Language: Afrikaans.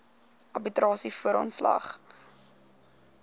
arbitrasie voor ontslag